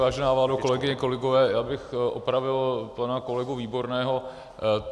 Vážená vládo, kolegyně, kolegové, já bych opravil pana kolegu Výborného.